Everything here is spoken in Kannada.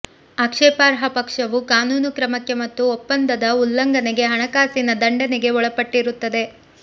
ಆಕ್ಷೇಪಾರ್ಹ ಪಕ್ಷವು ಕಾನೂನು ಕ್ರಮಕ್ಕೆ ಮತ್ತು ಒಪ್ಪಂದದ ಉಲ್ಲಂಘನೆಗೆ ಹಣಕಾಸಿನ ದಂಡನೆಗೆ ಒಳಪಟ್ಟಿರುತ್ತದೆ